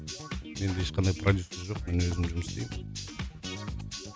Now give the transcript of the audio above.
менде ешқандай продюссер жоқ мен өзім жұмыс істеймін